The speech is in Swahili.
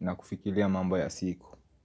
na kufikilia mambo ya siku.